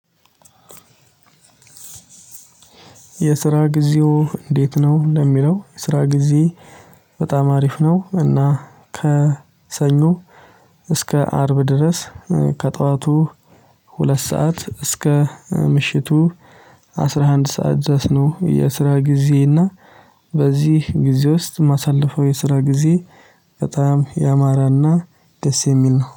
የስራ ጊዜዎ እንዴት ነው? ለሚለው የስራ ጊዜየ በጣም አሪፍ ነው። እና ከሰኞ እስከ አርብ ድረስ ከጠዋቱ ሁለት ሰዓት እስከ ምሽቱ አስራ አንድ ሰዓት ደረስ ነው። የስራ ጊዜየ እና በዚህ ጊዜ ውስጥ የማሳለፈው የስራ ጊዜ በጣም ያማረና ደስ የሚል ነው